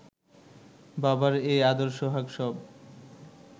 বাবার এই আদর সোহাগ সব